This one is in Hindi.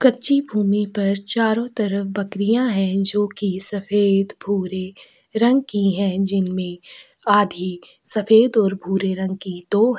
कच्ची भूमि पर चारों तरफ बकरियाँ है जो की सफ़ेद भूरे रंग की है जिनमे आधी सफ़ेद और भूरे रंग की दो है।